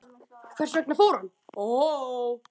Hvers vegna fór hann?